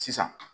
Sisan